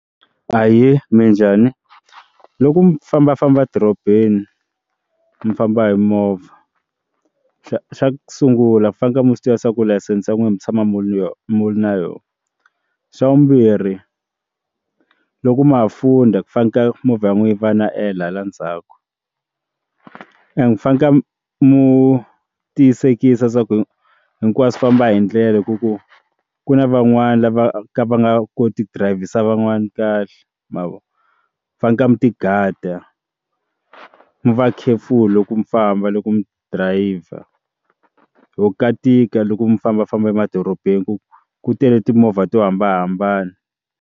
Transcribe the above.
Ahee, minjhani? Loku mi fambafamba dorobeni mi famba hi movha xa ku sungula mi faneke mi swi tiva ku layisense n'wina mi tshama mi ri na yona, xa vumbirhi loko ma ha fundha ku fana ka movha yi nwehe yi va na ela hala ndzhaku and fanaka mu tiyisekisa swa ku hinkwaswo famba hi ndlela ya ku ku ku na van'wani lava ka va nga koti drivhisa van'wani kahle ma vona fane ku ti gada mi va khefulu loko mi famba loko mi driver ho ka tika loko mi fambafamba emadorobeni ku ku tele timovha to hambanahambana.